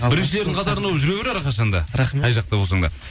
біріншілердің қатарында болып жүре бер әрқашан да рахмет қай жақта болсаң да